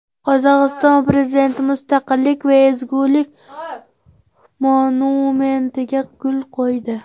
Qozog‘iston prezidenti Mustaqillik va ezgulik monumentiga gul qo‘ydi.